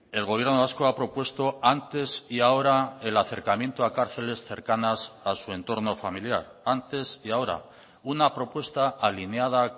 el gobierno vasco ha propuesto antes y ahora el acercamiento a cárceles cercanas a su entorno familiar antes y ahora una propuesta alineada